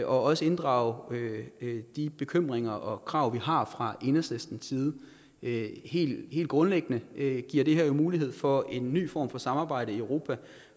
også inddrage de bekymringer og krav vi har fra enhedslistens side helt grundlæggende giver det her jo mulighed for en ny form for samarbejde i europa